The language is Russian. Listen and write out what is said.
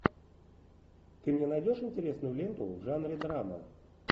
ты мне найдешь интересную ленту в жанре драма